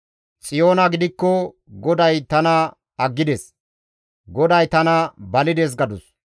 Xiyoona gidikko, «GODAY tana aggides; GODAY tana balides» gadus.